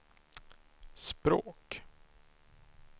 språk